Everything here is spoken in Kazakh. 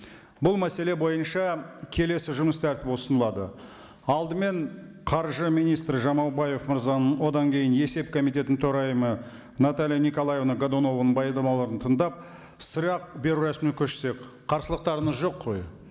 бұл мәселе бойынша келесі жұмыс тәртібі ұсынылады алдымен қаржы министрі жамаубаев мырзаның одан кейін есеп комитетінің төрайымы наталья николаевна годунованың баяндамаларын тыңдап сұрақ беру рәсіміне көшсек қарсылықтарыңыз жоқ қой